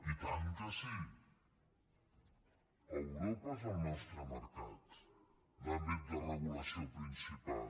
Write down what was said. i tant que sí europa és el nostre mercat l’àmbit de regulació principal